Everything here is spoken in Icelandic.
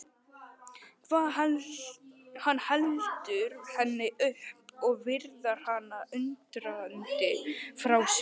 Hann heldur henni upp og virðir hana undrandi fyrir sér.